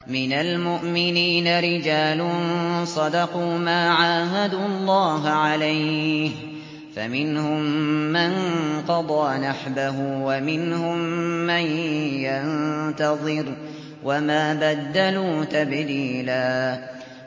مِّنَ الْمُؤْمِنِينَ رِجَالٌ صَدَقُوا مَا عَاهَدُوا اللَّهَ عَلَيْهِ ۖ فَمِنْهُم مَّن قَضَىٰ نَحْبَهُ وَمِنْهُم مَّن يَنتَظِرُ ۖ وَمَا بَدَّلُوا تَبْدِيلًا